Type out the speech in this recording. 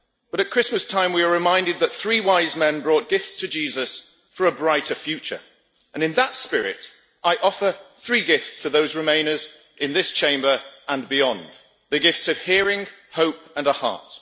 But at Christmas time we are reminded that three wise men brought gifts to Jesus for a brighter future and, in that spirit, I offer three gifts to those Remainers in this Chamber and beyond the gifts of hearing, hope and a heart.